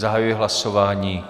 Zahajuji hlasování.